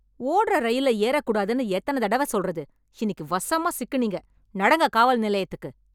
ஓட்ற ரயில்ல ஏறக் கூடாதுன்னு எத்தன தடவ சொல்றது, இன்னிக்கு வசமா சிக்குனீங்க, நடங்க காவல் நிலையத்துக்கு.